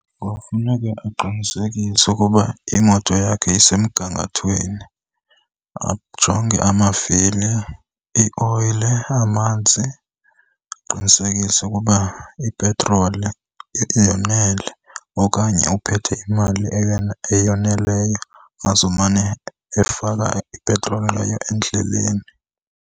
Kofuneke aqinisekise ukuba imoto yakhe isemgangathweni. Ajonge amavili, ioyile, amanzi, aqinisekise ukuba ipetroli yonele okanye uphethe imali eyoneleyo azomane efaka ipetroli ngayo endleleni.